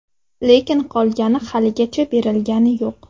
Lekin qolgani haligacha berilgani yo‘q.